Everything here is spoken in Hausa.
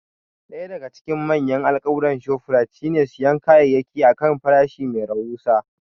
Ɗaya daga cikin manyan alkawuran Shoprite shine siyan kayayyaki a kan farashi mai rahusa.